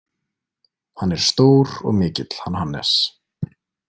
Hann er stór og mikill, hann Hannes.